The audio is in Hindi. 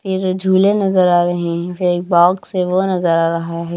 फिर झूले नजर आ रहे हैं फिर एक बॉक्स से वो नजर आ रहा है।